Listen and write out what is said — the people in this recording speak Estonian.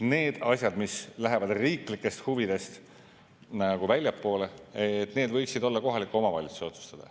Need asjad, mis lähevad riiklikest huvidest väljapoole, need võiksid olla kohalike omavalitsuste otsustada.